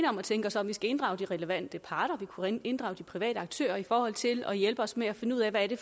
om at tænke os om vi skal inddrage de relevante parter vi kunne inddrage de private aktører i forhold til at hjælpe os med at finde ud af hvad det